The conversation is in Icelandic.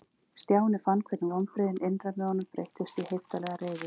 Stjáni fann hvernig vonbrigðin innra með honum breyttust í heiftarlega reiði.